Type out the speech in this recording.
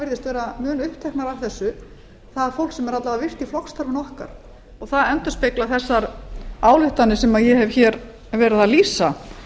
virðist vera mun uppteknara af þessu það fólk sem er alla vega virkt í flokksstarfinu okkar það endurspeglar þessar ályktanir sem ég hef hér verið að lýsa